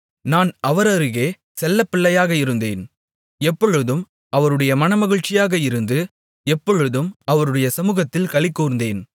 நான் அவர் அருகே செல்லப்பிள்ளையாக இருந்தேன் எப்பொழுதும் அவருடைய மனமகிழ்ச்சியாக இருந்து எப்பொழுதும் அவருடைய சமுகத்தில் களிகூர்ந்தேன்